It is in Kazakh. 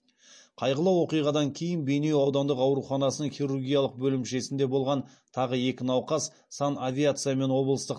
қайғылы оқиғадан кейін бейнеу аудандық ауруханасының хирургиялық бөлімшесінде болған тағы екі науқас санавиациямен облыстық